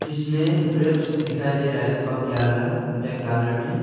इसमें ग्रेप्स दिखाई दे रहे हैं पक गया वाला ब्लैक कलर में।